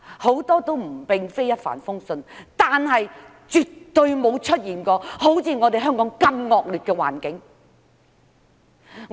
很多都並非一帆風順，但絕對未曾出現像香港這般惡劣的環境。